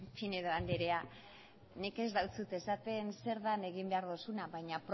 pinedo andrea nik ez deutsut esaten zer den egin behar duzuna baina